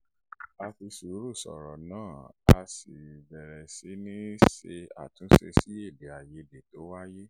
a fi sùúrù sọ̀rọ̀ náà a sì bẹ̀rẹ̀ sí ṣe àtúnṣe sí èdè àìyedè tó wáyè